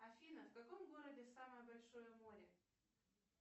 афина в каком городе самое большое море